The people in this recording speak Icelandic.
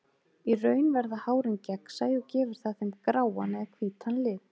Í raun verða hárin gegnsæ og gefur það þeim gráan eða hvítan lit.